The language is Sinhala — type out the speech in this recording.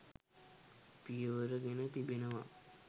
පියවර ගෙන තිබෙනවා